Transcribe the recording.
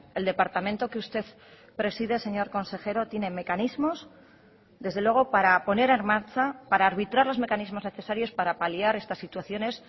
el departamento que usted preside señor consejero tiene mecanismos desde luego para poner en marcha para arbitrar los mecanismos necesarios para paliar estas situaciones